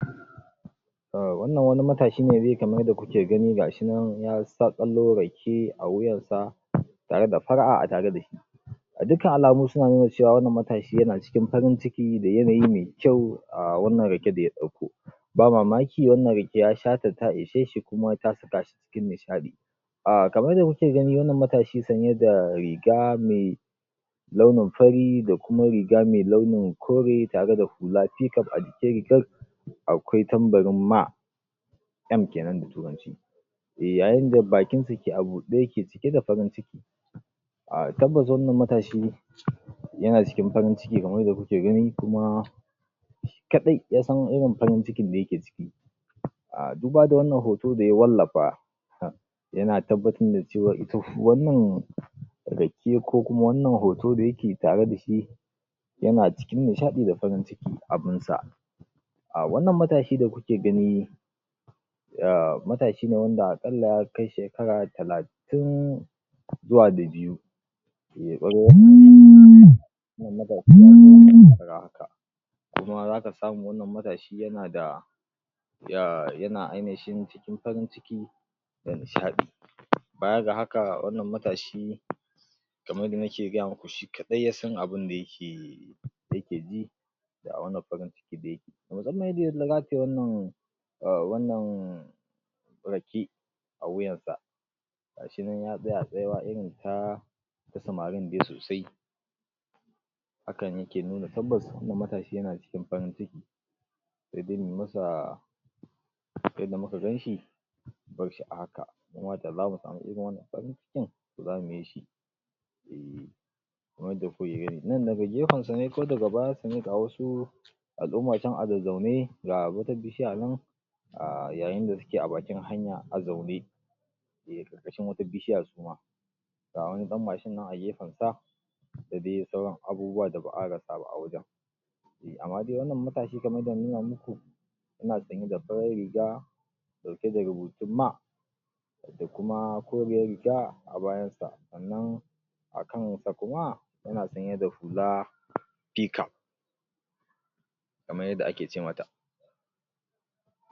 wannan wani matashi ne dai kamar yanda kuke gani ga shi nan ya saƙalo ra ke a wuyar sa tare da fara'a a tare da shi ga dukkan alamu suna nuna cewa wannan matashi yana cikin farin ciki da yanayi me kyau a wannan rake da ya ɗauko ba mamaki wannan rake ya sha ta ta ishe shi kuma ta saka shi cikin nishaɗi um kamar yanda muke gani wannan matashi sanye da riga me launin fari da kuma riga me launin kore tare da hula p-cap a jikin rigar akwai tambarin ma M kenan da turanci yayin da bakin sa yake a buɗe yake cike da farinciki tabbas wannan matashi yana cikin farin ciki kamar yanda kuke gani kuma shi kaɗai ya san irin farin cikin da yake ciki um duba da wannan hoto da ya wallafa yana tabbatar da cewa ita wannan rake ko kuma wannan hoto da yake tare da shi yana cikin nishaɗi da farin ciki abun sa um wannan matashi da kuke gani matashi ne wanda aƙalla ya kai shekara talatin zuwa da biyu kuma zaka samu wannan matashi yana da yana ainihin cikin farin ciki da nishaɗi baya ga haka wannan matashi kamar yanda nike gaya muku shi kaɗai ya san abunda yake yake ji a wannan farinciki da yake um wannan rake a wuyan sa ga shi nan ya tsaya a tsaye ya irin ta samarin dai sosai hakan yake nuna tabbas wannan matashi yana cikin farin ciki yanda muka gan shi mu bar shi a haka mu ma da zamu samu irin wannan farin cikin to zamu yi shi kamar yanda kuke gani. Nan daga gefen sa ne ko daga bayan sa ne ga wasu al'umma can a zazzaune ga wata bishiya nan yayin da suke a bakin hanya a zaune ƙarƙashin wata bishiya su ma ga wani ɗan mashin nan a gefen sa da dai sauran abubuwa da ba'a rasa ba a wajen amma dai wannan matashi kamar yanda na nuna muku yana sanye da farar riga ɗauke da rubutun ma da kuma koriyar a bayansa sannan akan sa kuma yana sanye da hula p-cap kamar yanda ake ce mata